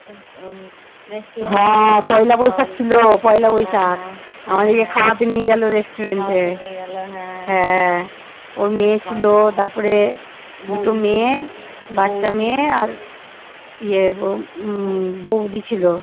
ইয়ে ও উম বৌদি ছিল